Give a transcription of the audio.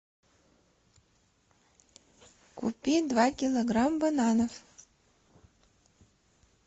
купи два килограмма бананов